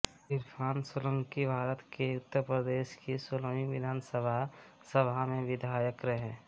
इरफान सोलंकीभारत के उत्तर प्रदेश की सोलहवीं विधानसभा सभा में विधायक रहे